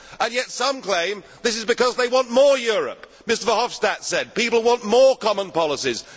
And yet some claim that this is because they want more Europe! Mr Verhofstadt said that people want more common policies.